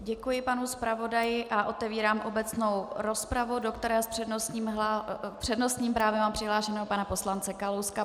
Děkuji panu zpravodaji a otevírám obecnou rozpravu, do které s přednostním právem mám přihlášeného pana poslance Kalouska.